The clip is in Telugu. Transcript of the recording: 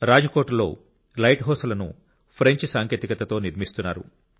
రాజ్కోట్లో లైట్ హౌస్లను ఫ్రెంచ్ సాంకేతికతతో నిర్మిస్తున్నారు